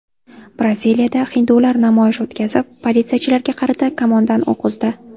Braziliyada hindular namoyish o‘tkazib, politsiyachilarga qarata kamondan o‘q uzdi.